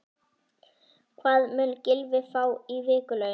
Hvað mun Gylfi fá í vikulaun?